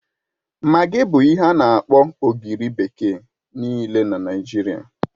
Magi bụ ihe ana-akpọ ogiri bekee nịịle n'Naijiria